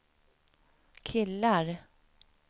killar